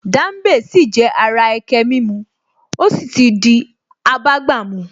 Dambe sì jẹ́ ara ẹkẹ mímu ó sì ti abágbàmu